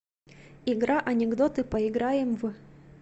игра анекдоты поиграем в